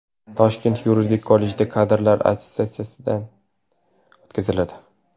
Toshkent yuridik kollejida kadrlar attestatsiyadan o‘tkaziladi.